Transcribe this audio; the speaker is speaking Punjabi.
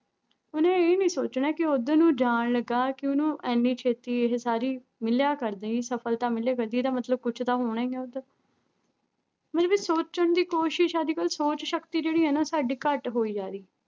ਉਹਨੇ ਇਹ ਨੀ ਸੋਚਣਾ ਕਿ ਉੱਧਰ ਨੂੰ ਜਾਣ ਲੱਗਾ ਕਿ ਉਹਨੂੰ ਇੰਨੀ ਛੇਤੀ ਇਹ ਸਾਰੀ ਮਿਲਿਆ ਕਰਦੀ ਸਫ਼ਲਤਾ ਮਿਲਿਆ ਕਰਦੀ, ਇਹਦਾ ਮਤਲਬ ਕੁਛ ਤਾਂ ਹੋਣਾ ਹੀ ਆਂ ਉੱਧਰ ਮਤਲਬ ਵੀ ਸੋਚਣ ਦੀ ਕੋਸ਼ਿਸ਼ ਅੱਜ ਕੱਲ੍ਹ ਸੋਚ ਸ਼ਕਤੀ ਜਿਹੜੀ ਹੈ ਨਾ ਸਾਡੀ ਘੱਟ ਹੋਈ ਜਾ ਰਹੀ।